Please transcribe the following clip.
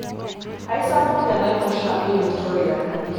Eisapuk enaiposha e Victoria.